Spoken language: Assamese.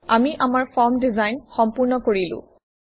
আমি আমাৰ ফৰ্ম ডিজাইন সম্পূৰ্ণ কৰিলো